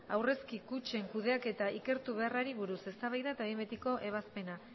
aurrezki kutxen kudeaketa ikertu beharrari buruz eztabaida eta behin betiko ebazpena